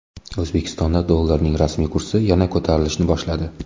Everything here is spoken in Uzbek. O‘zbekistonda dollarning rasmiy kursi yana ko‘tarilishni boshladi.